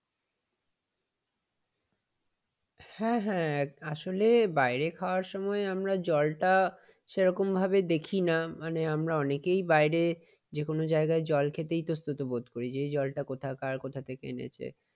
হ্যাঁ হ্যাঁ আসলে বাইরে খাওয়ার সময় আমরা জলটা, সেরকম ভাবে দেখি না মানে আমরা অনেকেই বাইরে যে কোন জায়গায় জল খেতে ইতস্তত বোধ করি যে জায়গাটা কোথাকার কোথা থেকে এনেছে।